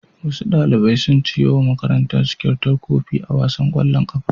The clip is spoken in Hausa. Wasu ɗalibai sun ciwo wa makarantarsu kyautar kofi a wasan ƙwallon ƙafa.